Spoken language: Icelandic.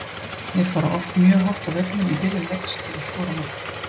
Þeir fara oft mjög hátt á völlinn í byrjun leiks til að skora mark.